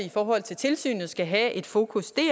i forhold til tilsynet skal have et fokus